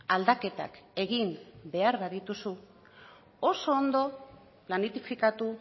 aldaketak egin behar badituzu oso ondo planifikatu